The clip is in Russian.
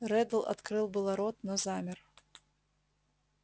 реддл открыл было рот но замер